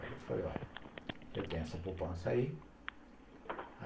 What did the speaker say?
Aí eu falei, olha, eu tenho essa poupança aí.